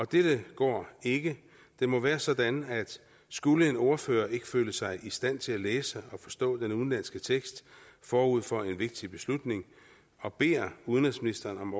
det går ikke det må være sådan at skulle en ordfører ikke føle sig i stand til at læse og forstå den udenlandske tekst forud for en vigtig beslutning og beder udenrigsministeren om